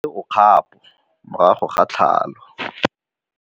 Mmagwe o kgapô morago ga tlhalô.